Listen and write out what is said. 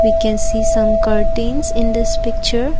we can see some curtains in this picture.